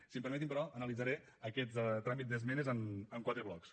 si em permeten però analitzaré aquest tràmit d’esmenes en quatre blocs